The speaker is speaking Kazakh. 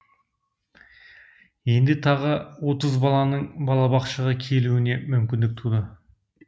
енді тағы отыз баланың балақшаға келуіне мүмкіндік туды